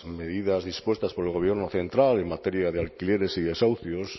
medidas dispuestas por el gobierno central en materia de alquileres y desahucios